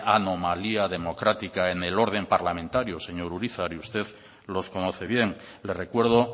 anomalía democrática en el orden parlamentario señor urizar y usted los conoce bien le recuerdo